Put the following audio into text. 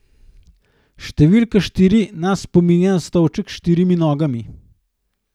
Številka štiri nas spominja na stolček s štirimi nogami.